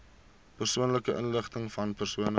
persoonlike inligtingvan persone